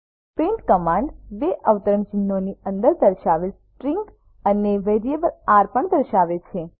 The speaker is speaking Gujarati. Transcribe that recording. પ્રિન્ટ કમાન્ડ બે અવતરણચિહ્નો ની અંદર દર્શાવેલ સ્ટ્રીંગ અને વેરિયેબલ આર પણ દર્શાવે છે